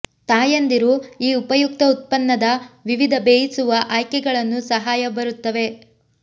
ತಾಯಂದಿರು ಈ ಉಪಯುಕ್ತ ಉತ್ಪನ್ನದ ವಿವಿಧ ಬೇಯಿಸುವ ಆಯ್ಕೆಗಳನ್ನು ಸಹಾಯ ಬರುತ್ತವೆ